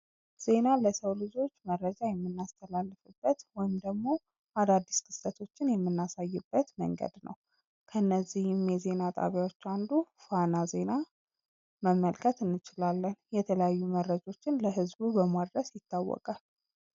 ዜና ለሰው ልጆች መረጃን የምናስተላልፍበት ወይም ደግሞ አዳዲስ ክስተቶችን የምናሳይበት መንገድ ነው ።ከነዚህም የዜና ጣቢያዎች አንዱ ፋና ዜና መመልከት እንችላለን። የተለያዩ መረጃዎችን ለህዝቡ በማድረስ ይታወቃል።